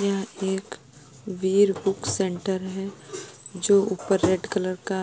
यह एक Veer book centre है जो ऊपर रेड कलर का